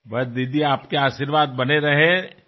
बस दिदी तुमचे आशीर्वाद कायम असू द्यात